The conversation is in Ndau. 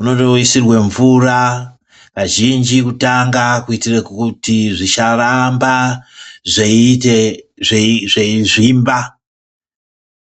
unotoisire mvura kazhinji kutanga kuitire kuti zvisaramba zveiite zveizvimba.